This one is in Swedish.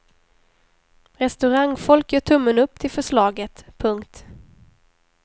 Restaurangfolk gör tummen upp till förslaget. punkt